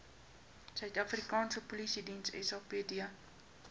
afrikaanse polisiediens sapd